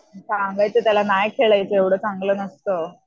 सांगायचं त्याला नाही खेळायचं एवढं चांगलं नसतं.